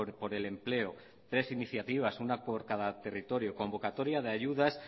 por el empleo tres iniciativas una por cada territorio convocatoria de ayudas